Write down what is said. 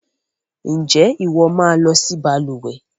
Ǹjẹ́ ìwọ máa lọ si balùwẹ́